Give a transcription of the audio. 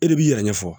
E de b'i yɛrɛ ɲɛfɔ